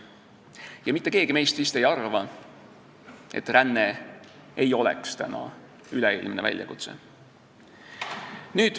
Mitte keegi meist vist ei arva, et ränne ei ole täna üleilmne väljakutse.